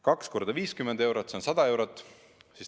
Kaks korda 50 eurot, see on 100 eurot.